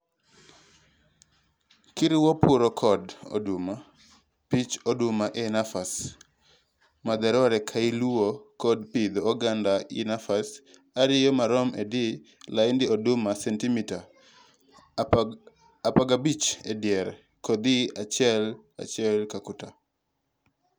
Kiriwo puro kod oduma, pith oduma e nafas madwarore kailuwo kod pidho oganda e nafas ariyo marom edier laind oduma sentimita apagabich ediere, kodhi achiel achiel katuta.